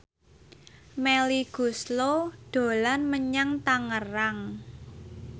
Melly Goeslaw dolan menyang Tangerang